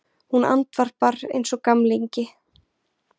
Hún andvarpar einsog gamlingi.